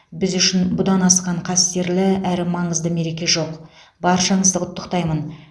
біз үшін бұдан асқан қастерлі әрі маңызды мереке жоқ баршаңызды құттықтаймын